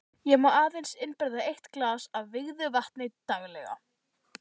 Ég má aðeins innbyrða eitt glas af vígðu vatni daglega.